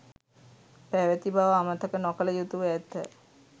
පැවති බව අමතක නොකළ යුතුව ඇත